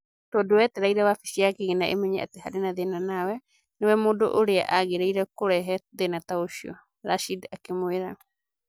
Tondũ wetereire wabici ya kĩgĩna ĩmenye atĩ harĩ na thĩna na we nĩ we mũndũ ũrĩa agĩrĩire kũrehe thĩna ta ũcio, Rashid akĩmũĩra.